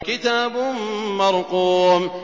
كِتَابٌ مَّرْقُومٌ